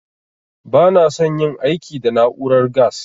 Ba na san yin girki da na'urar gas